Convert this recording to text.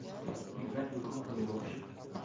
играть в игру планировщик